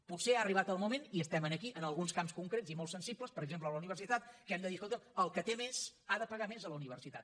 potser ha arribat el moment i estem aquí en alguns camps concrets i molt sensibles per exemple la universitat que hem de dir escolta’m el que té més ha de pagar més a la universitat